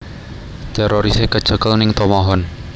Terorise kecekel ning Tomohon